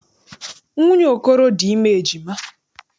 Nwunye Okoro dị ime ejima.